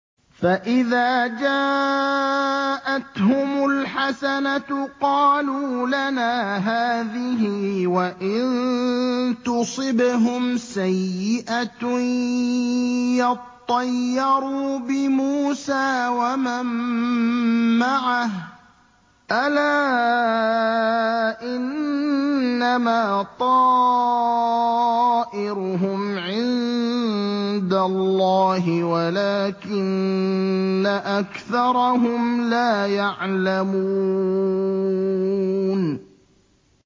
فَإِذَا جَاءَتْهُمُ الْحَسَنَةُ قَالُوا لَنَا هَٰذِهِ ۖ وَإِن تُصِبْهُمْ سَيِّئَةٌ يَطَّيَّرُوا بِمُوسَىٰ وَمَن مَّعَهُ ۗ أَلَا إِنَّمَا طَائِرُهُمْ عِندَ اللَّهِ وَلَٰكِنَّ أَكْثَرَهُمْ لَا يَعْلَمُونَ